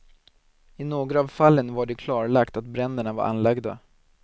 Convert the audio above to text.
I några av fallen var det klarlagt att bränderna var anlagda.